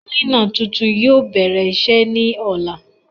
Kílínà tuntun yóò bèrè iṣé ní ọ̀la